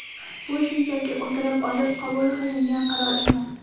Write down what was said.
Bu shunchaki o‘tirib olib qabul qilingan qaror emas.